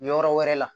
Yɔrɔ wɛrɛ la